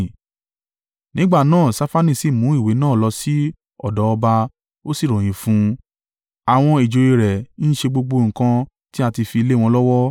Nígbà náà Ṣafani sì mú ìwé náà lọ sí ọ̀dọ̀ ọba ó sì ròyìn fún un. “Àwọn ìjòyè rẹ̀ ń ṣe gbogbo nǹkan tí a ti fi lé wọn lọ́wọ́.